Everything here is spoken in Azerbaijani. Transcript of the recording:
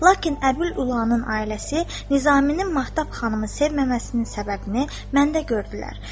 Lakin Əbül Ülanın ailəsi Nizaminin Mahtab xanımı sevməməsinin səbəbini məndə gördülər.